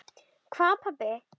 Hvað pabbi?